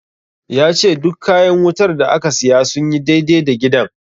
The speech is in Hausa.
Ya ce duk kayan wutar da aka siya sun yi dai-dai da gidan.